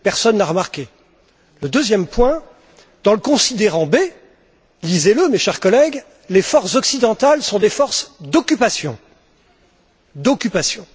Personne ne l'a remarqué. Le deuxième point dans le considérant B, lisez le mes chers collègues, les forces occidentales sont des forces d'occupation.